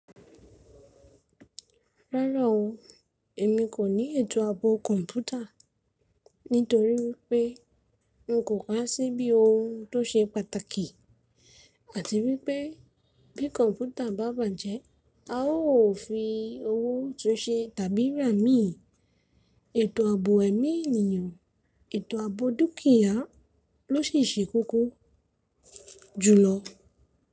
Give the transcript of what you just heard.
Rárá o, èmi kò ní ètò àbò kọ̀ǹpútà nítorí wípé n kò ká sí bí ohun tó ṣe pàtàkì àti wípé bí kọ̀ǹpútà bá bàjẹ́ a ó fi owó tun ṣe tàbí rà imí. Ètò àbò ẹ̀mí ènìyàn, ètò àbò dúkìá ló sì ṣe koko jùlọ.